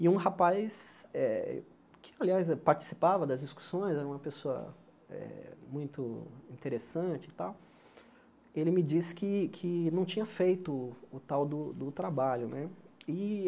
E um rapaz, eh que, aliás, participava das discussões, era uma pessoa eh muito interessante e tal, ele me disse que que não tinha feito o tal do do trabalho né e.